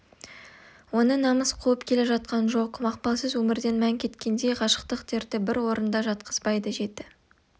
оны намыс қуып келе жатқан жоқ мақпалсыз өмірден мән кеткендей ғашықтық дерті бір орнында жатқызбайды жеті